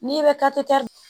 N'i bɛ